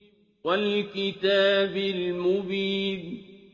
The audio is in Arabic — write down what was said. وَالْكِتَابِ الْمُبِينِ